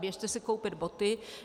Běžte si koupit boty.